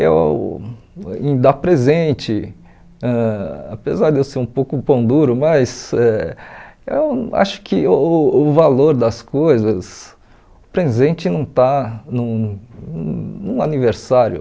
Eu em dar presente, ãh apesar de eu ser um pouco pão duro, mas eh eu acho que o o o valor das coisas... O presente não está num num aniversário.